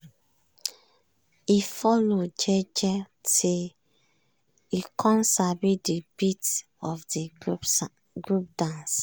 e follow jeje till e com sabi d beat of de group dance.